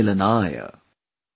इतिविदा पुनर्मिलनाय